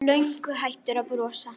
Löngu hættur að brosa.